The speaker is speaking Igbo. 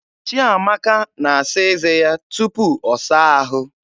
Chiamaka na-asa eze ya tupu ọ saa ahụ.